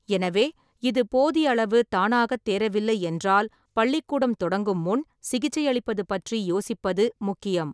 எனவே, இது போதியளவு தானாகத் தேறவில்லை என்றால், பள்ளிக்கூடம் தொடங்கும் முன் சிகிச்சையளிப்பது பற்றி யோசிப்பது முக்கியம்.